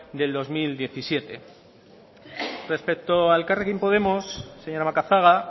del dos mil diecisiete respecto a elkarrekin podemos señora macazaga